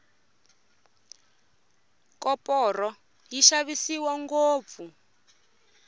koporo yi xavisiwa ngopfu